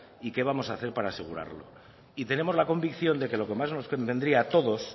y qué vamos a hacer para asegurarlo y tenemos la convicción de que lo que más nos convendría a todos